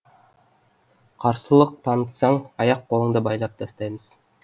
қарсылық танытсаң аяқ қолыңды байлап тастаймыз